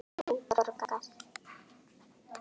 Þú borgar.